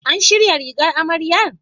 An shirya rigar amarya?